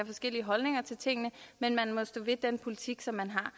forskellige holdninger til tingene men man må stå ved den politik som man har